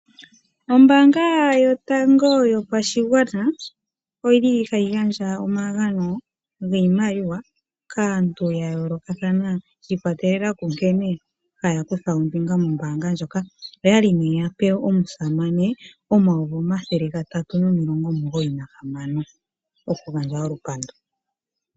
Oombanga yatango yopashigwana oyili hayi gandja omagano giimaliwa kaantu ya yoolakathana shi ikwatelela ku nkene haya kutha ombinga moombanga ndjoka . Oyali ne yapewa omusamane omayovi omathele gatatu nomilongo omugoyi nahamano.